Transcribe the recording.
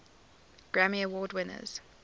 grammy award winners